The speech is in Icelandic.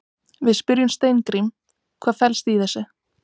Við spyrjum Steingrím, hvað fellst í þessu?